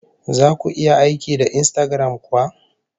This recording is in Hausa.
Zaku iya aiki da Instagram kuwa?